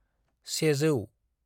100